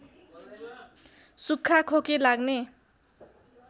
सुख्खा खोकी लाग्ने